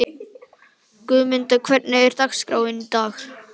Guðmunda, hvernig er dagskráin í dag?